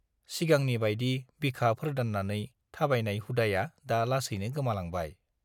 सिगांनि बाइदि बिखा फोर्दान्नानै थाबायनाय हुदाया दा लासैनो गोमालांबाय।